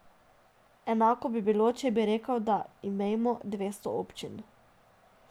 Enako bi bilo, če bi rekel, da imejmo dvesto občin.